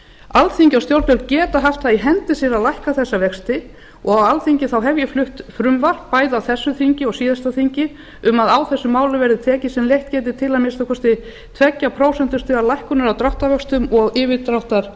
alþingi og stjórnvöld geta haft það í hendi sér að lækka þessa vexti á alþingi hef ég flutt frumvarp bæði á þessu þingi og síðasta þingi um að á þessum málum verði tekið sem leitt gæti til að minnsta kosti tveggja prósentustiga lækkunar á dráttarvöxtum og yfirdráttarlánum